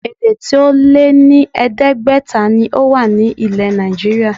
Èdè tí ó lé ní ẹ̀ẹ́dẹ́gbẹ̀ta ni ó wà ilẹ̀ Nàìjííríà